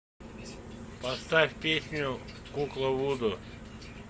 поставь песню кукла вуду